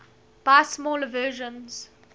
buy smaller versions